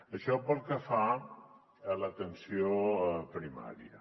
això pel que fa a l’atenció primària